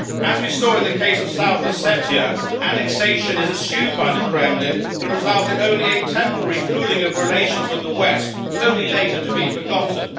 As we saw in the case of South Ossetia, annexation is assumed by the Kremlin to result in only a temporary cooling of relations with the West, only later to be forgotten.